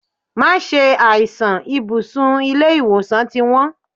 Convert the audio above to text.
Má ṣe àìsàn, ibùsùn ilé ìwòsàn ti wón.